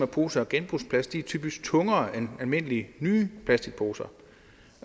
poser af genbrugsplast er typisk tungere end almindelige nye plastikposer